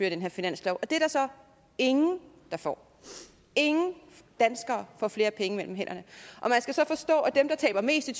af den her finanslov og det er der så ingen der får ingen danskere får flere penge mellem hænderne og man skal så forstå at dem der taber mest i